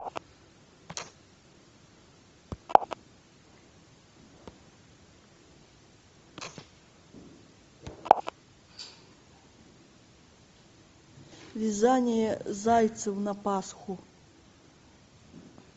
вязание зайцев на пасху